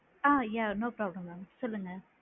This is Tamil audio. ஆ யா no problem madam சொல்லுங்க